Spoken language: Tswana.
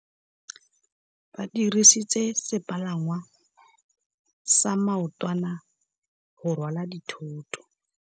Ba dirisitse sepalangwasa maotwana go rwala dithôtô.